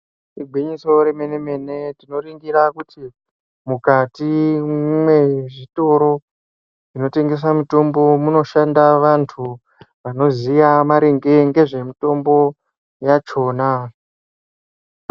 Igwinyiso remene-mene, tinoringira kuti mukati mezvitoro zvinotengesa mitombo munoshanda vantu vanoziya maringe nezvemutombo yachona.